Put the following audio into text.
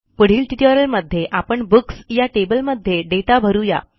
पुढील ट्युटोरियलमध्ये आपण बुक्स या टेबलमध्ये दाता भरू या